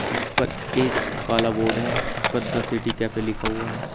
जिस पर एक काला बोर्ड है जिस पर द सिटी कैफे लिखा हुआ है।